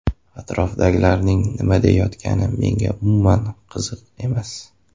Atrofdagilarning nima deyayotgani menga umuman qiziq emas.